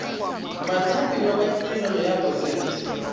bathapiwa ba tirelo ya boset